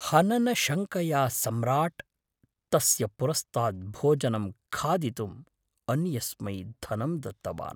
हननशङ्कया सम्राट्, तस्य पुरस्तात् भोजनं खादितुम् अन्यस्मै धनं दत्तवान्।